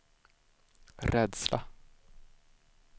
rädsla